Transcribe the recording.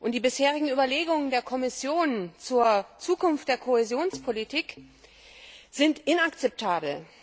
Die bisherigen Überlegungen der Kommission zur Zukunft der Kohäsionspolitik sind inakzeptabel.